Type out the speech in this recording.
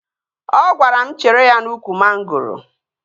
Ọ gwara m chere ya n'ụkwụ mangoro